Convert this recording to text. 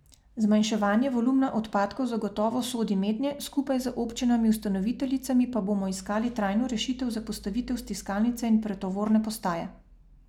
Zmanjševanje volumna odpadkov zagotovo sodi mednje, skupaj z občinami ustanoviteljicami pa bomo iskali trajno rešitev za postavitev stiskalnice in pretovorne postaje.